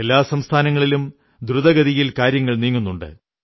എല്ലാ സംസ്ഥാനങ്ങളിലും ദ്രുതഗതിയിൽ കാര്യങ്ങൾ നീങ്ങുന്നുണ്ട്